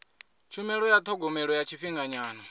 tshumelo ya thogomelo ya tshifhinganyana